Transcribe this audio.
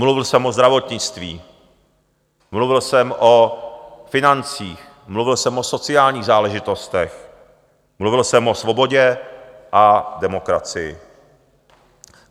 Mluvil jsem o zdravotnictví, mluvil jsem o financích, mluvil jsem o sociálních záležitostech, mluvil jsem o svobodě a demokracii.